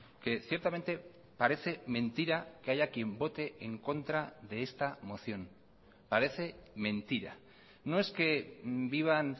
que ciertamente parece mentira que haya quien vote en contra de esta moción parece mentira no es que vivan